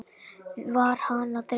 Var hana að dreyma?